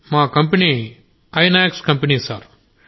మా company Inox company sir